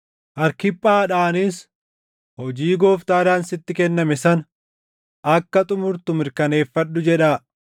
Arkiphaadhaanis, “Hojii Gooftaadhaan sitti kenname sana akka xumurtu mirkaneeffadhu” jedhaa.